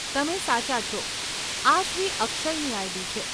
તમે સાચા છો, આ શ્રી અક્ષયની આઈડી છે.